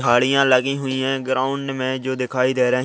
झाड़ियाँ लगी हुई है ग्राउंड में जो दिखाई दे रही--